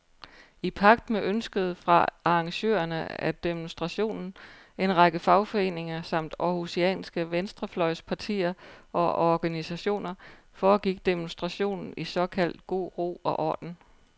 I pagt med ønsket fra arrangørerne af demonstrationen, en række fagforeninger samt århusianske venstrefløjspartier og organisationer, foregik demonstrationen i såkaldt god ro og orden.